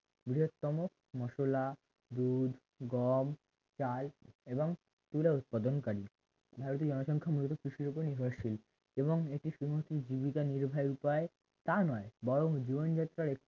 বৃহত্তম মসলা দুধ গম চাল এবং তুলা উৎপাদনকারী ভারতীয় জনসংখ্যা মূলত কৃষির উপর নির্ভরশীল এবং এটি জীবিকা নির্বাহের উপায় তা নয় বরং জীবনযাত্রার এক